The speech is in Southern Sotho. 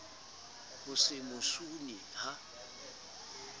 ho se mo sune ha